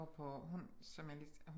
Går på hun som jeg lige